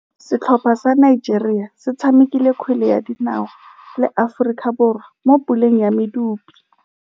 Setlhopha sa Nigeria se tshamekile kgwele ya dinaô le Aforika Borwa mo puleng ya medupe.